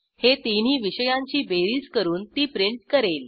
हे तिन्ही विषयांची बेरीज करून ती प्रिंट करेल